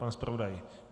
Pan zpravodaj?